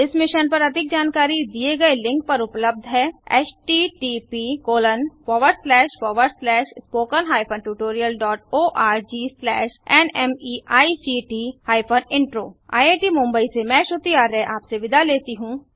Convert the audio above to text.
इस मिशन पर अधिक जानकारी दिए गए लिंक पर उपलब्ध है httpspoken tutorialorgNMEICT Intro यह स्क्रिप्ट देवेन्द्र कैरवान द्वारा अनुवादित है आईआईटी मुंबई की ओर से अब मैंआपसे विदा लेता हूँ